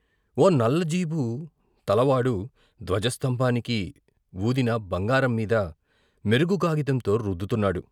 ఓ నల్ల జీబు తలవాడు ధ్వజస్తంభానికి వూదిన బంగారం మీద మెరుగు కాగితంతో రుద్దుతున్నాడు.